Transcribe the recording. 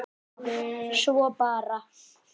Svo bara.